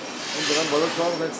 Bunları qoyaq hələ.